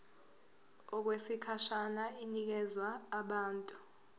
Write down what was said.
okwesikhashana inikezwa abantu